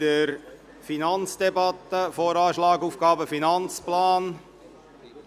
In der Finanzdebatte behandeln wir den Voranschlag (VA) und den Aufgaben- und Finanzplan (AFP).